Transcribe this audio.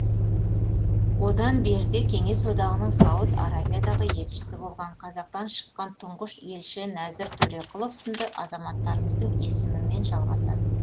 одан бері де кеңес одағының сауд арабиядағы елшісі болған қазақтан шыққан тұңғыш елші нәзір төреқұлов сынды азаматтарымыздың есімімен жалғасады